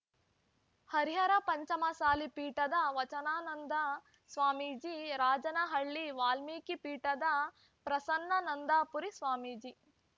ಹರಿಹರ ಪಂಚಮಸಾಲಿ ಪೀಠದ ವಚನಾನಂದ ಸ್ವಾಮೀಜಿ ರಾಜನಹಳ್ಳಿ ವಾಲ್ಮೀಕಿ ಪೀಠದ ಪ್ರಸನ್ನಾನಂದಪುರಿ ಸ್ವಾಮೀಜಿ